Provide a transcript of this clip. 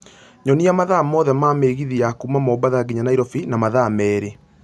Nyonia mathaa mothe ma migithi ya kuuma mombatha nginya Nairobi na mathaa merĩ